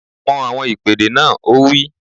Mọ àwọn ìpèdè náà! Ó wí